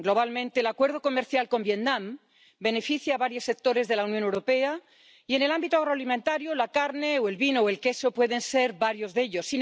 Globalmente, el Acuerdo comercial con Vietnam beneficia a varios sectores de la Unión Europea y, en el ámbito agroalimentario, la carne o el vino o el queso pueden ser varios de ellos.